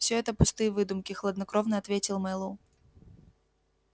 всё это пустые выдумки хладнокровно ответил мэллоу